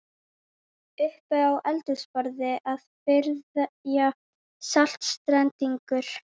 Uppi á eldhúsborði að bryðja saltstengur.